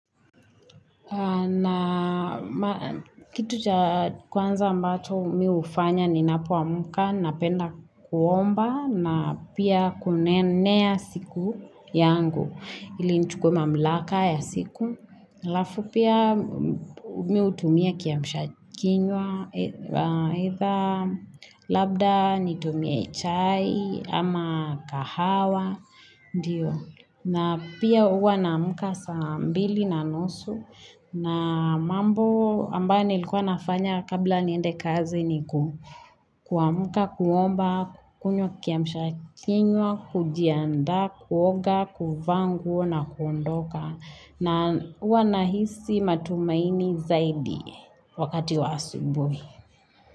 Na kitu cha kwanza ambacho mimi hufanya ninapoamka, napenda kuomba na pia kunenea siku yangu ili nichukuwe mamlaka ya siku. Alafu pia mimi hutumia kiamshakinywa, either labda nitumie chai ama kahawa, na pia huwa naamka saa mbili na nusu, na mambo ambayo nilikuwa nafanya kabla niende kazi ni kuamka, kuomba, kunywa kiamshakinywa, kujiandaa, kuoga, kuvaa nguo na kuondoka. Na huwa nahisi matumaini zaidi wakati wa asubuhi.